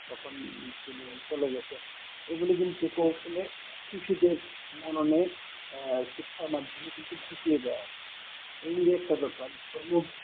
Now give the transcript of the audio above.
কখন তিনি চলে গেছেন এইগুলি কিন্তু কৌশলে শিশুদের মননে আহ শিক্ষার মাধ্যমে কিন্তু ঢুকিয়ে দেওয়া এই যে একটা ব্যাপার